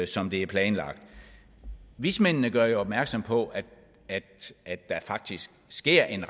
som det er planlagt vismændene gør jo opmærksom på at der faktisk sker en